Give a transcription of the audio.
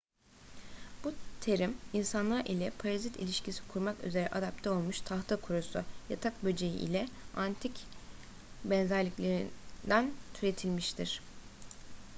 bu terim insanlar ile parazit ilişkisi kurmak üzere adapte olmuş tahtakurusu yatak böceği ile antik benzerliklerinden türetilmiştir